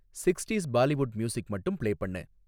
sixties Bollywood music மட்டும் play பண்ணு